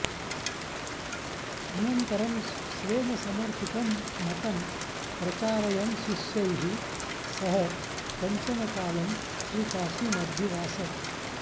अनन्तरं स्वेन समर्थितं मतं प्रचारयन् शिष्यैः सह कञ्चन कालं श्रीकाशीमध्युवास